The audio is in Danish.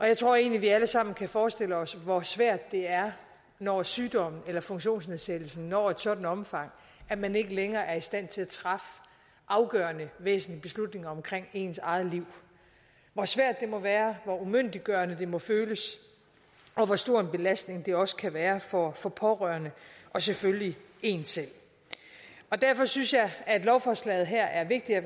jeg tror egentlig vi alle sammen kan forestille os hvor svært det er når sygdommen eller funktionsnedsættelsen når et sådant omfang at man ikke længere er i stand til at træffe afgørende og væsentlige beslutninger om ens eget liv hvor svært det må være hvor umyndiggørende det må føles og hvor stor en belastning det også kan være for for pårørende og selvfølgelig en selv derfor synes jeg at lovforslaget her er vigtigt og